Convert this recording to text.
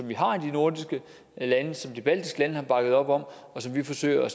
vi har i de nordiske lande som de baltiske lande har bakket op om og som vi forsøger